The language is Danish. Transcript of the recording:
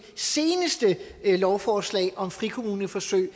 seneste lovforslag om frikommuneforsøg